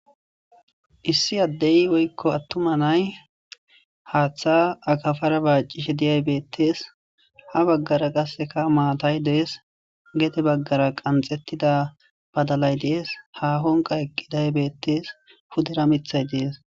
issi addey woykko attuma nay haaththa akafara baacishe diyay beettees ha baggara qasseka maatay dees geete baggara qanxettida badalay dees ha honqa eqqidaybeettes hudera mithay dees